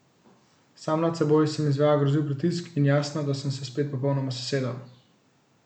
Sam nad seboj sem izvajal grozljiv pritisk in jasno, da sem se spet popolnoma sesedel.